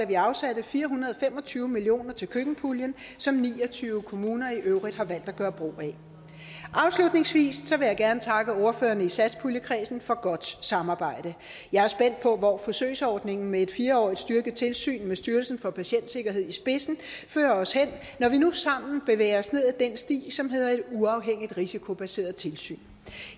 vi afsatte fire hundrede og fem og tyve million kroner til køkkenpuljen som ni og tyve kommuner i øvrigt har valgt at gøre brug af afslutningsvis vil jeg gerne takke ordførerne i satspuljekredsen for godt samarbejde jeg er spændt på hvor forsøgsordningen med et fire årig t styrket tilsyn med styrelsen for patientsikkerhed i spidsen fører os hen når vi nu sammen bevæger os ned ad den sti som hedder et uafhængigt risikobaseret tilsyn